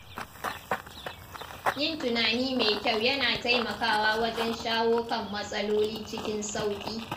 Yin tunani mai kyau yana taimakawa wajen shawo kan matsaloli cikin sauƙi.